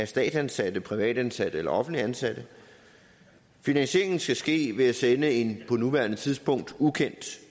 statsansatte privatansatte eller offentligt ansatte og finansieringen skal ske ved at sende en på nuværende tidspunkt ukendt